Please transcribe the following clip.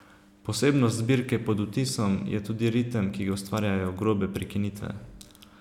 Posebnost zbirke Pod vtisom je tudi ritem, ki ga ustvarjajo grobe prekinitve.